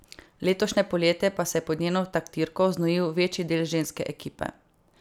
Letošnje poletje pa se je pod njeno taktirko znojil večji del ženske ekipe.